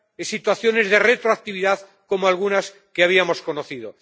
situaciones de retroactividad como algunas que habíamos conocido.